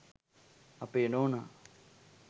අපේ නෝනා